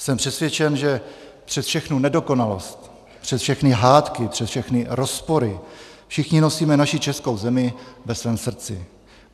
Jsem přesvědčen, že přes všechnu nedokonalost, přes všechny hádky, přes všechny rozpory všichni nosíme naši českou zemi ve svém srdci.